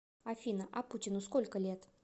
афина а путину сколько лет